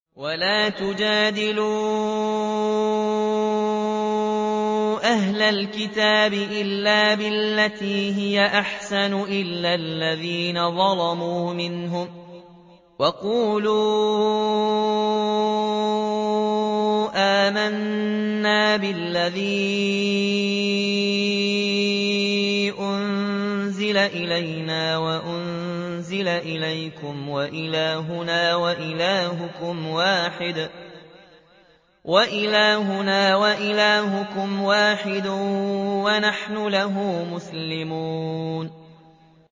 ۞ وَلَا تُجَادِلُوا أَهْلَ الْكِتَابِ إِلَّا بِالَّتِي هِيَ أَحْسَنُ إِلَّا الَّذِينَ ظَلَمُوا مِنْهُمْ ۖ وَقُولُوا آمَنَّا بِالَّذِي أُنزِلَ إِلَيْنَا وَأُنزِلَ إِلَيْكُمْ وَإِلَٰهُنَا وَإِلَٰهُكُمْ وَاحِدٌ وَنَحْنُ لَهُ مُسْلِمُونَ